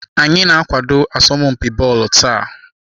Anyị na-akwado asọmpi bọọlụ taa.